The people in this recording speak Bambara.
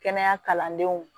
Kɛnɛya kalandenw